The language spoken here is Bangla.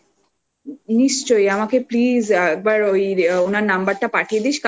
নিশ্চয়ই আমাকে please একবার ওই ওনার নাম্বারটা